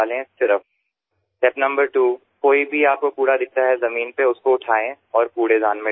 બીજું પગલું જો તમને કોઈ કચરો દેખાય જમીન પર તો તેને ઉઠાવો અને કચરાપેટીમાં નાખો